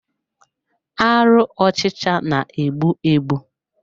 Arụ ọchịcha na-egbu egbu.